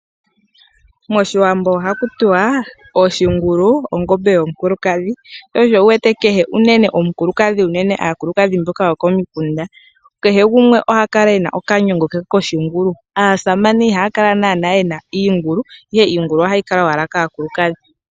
MOshiwambo ohaku tiwa oshingulu ongombe yomukulukadhi , sho osho wuwete kehe omukulukadhi unene aakulukadhi mboka yokomikunda kehe gumwe oha kala ena okanyongo ke koshingulu . Aasamane ihaya kala naanaa yena iikungulu ihe iingulu ohayi kala owala kaakulukadhi.